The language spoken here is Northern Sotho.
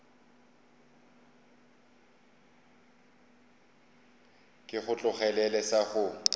ke go tlogelele sa go